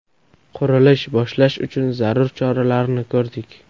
Qurilish boshlash uchun zarur choralarni ko‘rdik.